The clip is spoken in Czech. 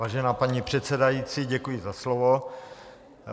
Vážená paní předsedající, děkuji za slovo.